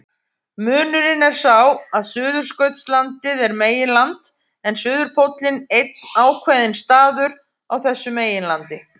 Munurinn er sá að Suðurskautslandið er meginland en suðurpóllinn einn ákveðinn staður á þessu meginlandi.